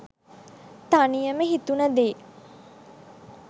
තනියම හිතුණ දේ